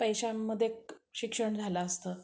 कमी पैश्यांमध्ये शिक्षण झालं असतं.